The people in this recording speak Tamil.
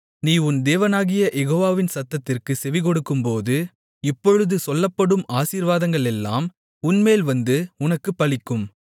நீ உன் தேவனாகிய யெகோவாவின் சத்தத்திற்குச் செவிகொடுக்கும்போது இப்பொழுது சொல்லப்படும் ஆசீர்வாதங்களெல்லாம் உன்மேல் வந்து உனக்குப் பலிக்கும்